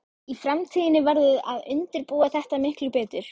Í framtíðinni verður að undirbúa þetta miklu betur.